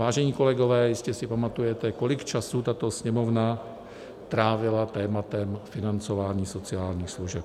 Vážení kolegové, jistě si pamatujete, kolik času tato Sněmovna trávila tématem financování sociálních služeb.